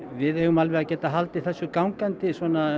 við eigum alveg að geta haldið þessu gangandi